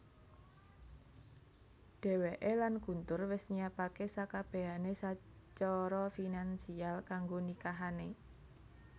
Dheweké lan Guntur wis nyiapaké sakabehané sacara finansial kanggo nikahané